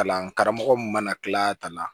Kalan karamɔgɔ mun mana kila ka na